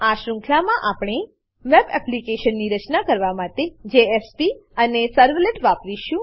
આ શૃંખલામાં આપણે વેબ એપ્લિકેશન વેબ એપ્લીકેશન ની રચના કરવા માટે જેએસપી જેએસપી અને સર્વલેટ્સ સર્વલેટ્સ વાપરીશું